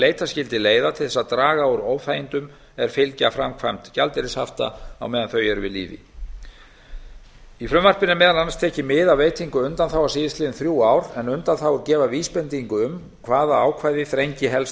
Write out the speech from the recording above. leita skyldi leiða til þess að draga úr óþægindum er fylgja framkvæmd gjaldeyrishafta á meðan þau eru við lýði í frumvarpinu er er meðal annars tekið mið af veitingu undanþága síðastliðin þrjú ár en undanþágur gefa vísbendingu um hvaða ákvæði þrengi helst